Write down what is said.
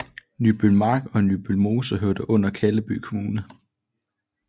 Nybølmark og Nybølmose hørte under Kalleby Kommune